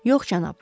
Yox, cənab.